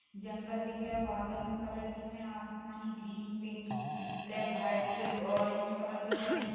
जंगल दिख रहा है। बादल में कलर दिख रहा है। आसमानी green pink black white orange colour दिख रहा है। नी --